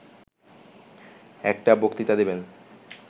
একটি বক্তৃতা দেবেন